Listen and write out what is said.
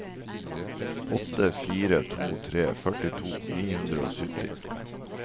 åtte fire to tre førtito ni hundre og sytti